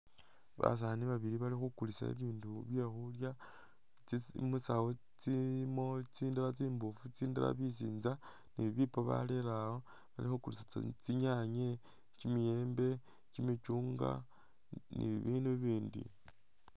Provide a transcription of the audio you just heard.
Basaani babili bali khukuliisa bibindu bye khuulya tsi musaawu tsilimo tsindala tsimuufu tsindala bisinza ne bibiipo barere awo bali khukuliisa tsinyanya, kimiyembe, kimichungwa ne bibindu ibindi.